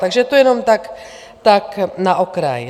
Takže to jenom tak na okraj.